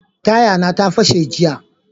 Taya na ta fashe jiya.